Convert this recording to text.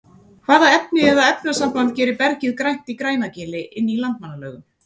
hvaða efni eða efnasamband gerir bergið grænt í grænagili inn í landmannalaugum